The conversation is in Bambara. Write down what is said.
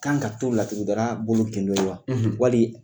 Kan ka to laturudala bolo gindo ye wa wali